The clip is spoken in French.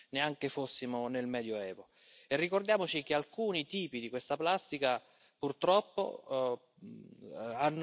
vital. Il va même favoriser une relance de cette industrie grâce au concept trompeur de l'économie circulaire.